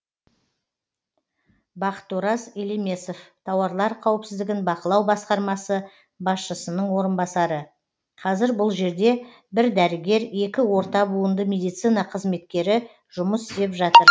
бақытораз елемесов тауарлар қауіпсіздігін бақылау басқармасы басшысының орынбасары қазір бұл жерде бір дәрігер екі орта буынды медицина қызметкері жұмыс істеп жатыр